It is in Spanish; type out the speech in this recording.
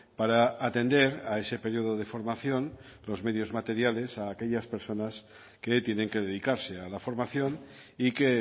para atender a ese periodo de formación los medios materiales a aquellas personas que tienen que dedicarse a la formación y que